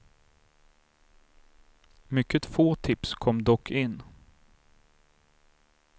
Mycket få tips kom dock in.